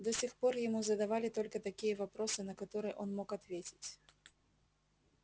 до сих пор ему задавали только такие вопросы на которые он мог ответить